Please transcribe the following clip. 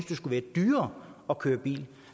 det skulle være dyrere at køre i bil